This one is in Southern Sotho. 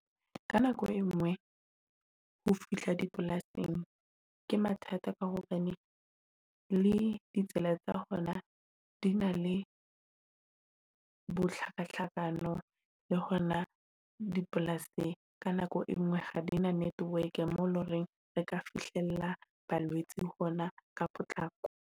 Ka nako engwe, ho fihla dipolasing ke mathata ka hobane le ditsela tsa bona di na le bohlaka hlakano le hona dipolasing. Ka nako engwe ha di na network mo e e leng hore le ka fihlella balwetse hona ka potlako.